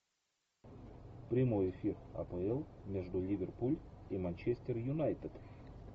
прямой эфир апл между ливерпуль и манчестер юнайтед